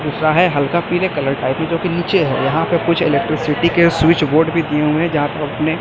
दूसरा है हल्का पीले कलर का है जो कि नीचे है यहां पे कुछ इलेक्ट्रिसिटी के स्विच बोर्ड भी दिए हुए हैं जहां पे अपने--